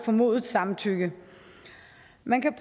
formodet samtykke man kan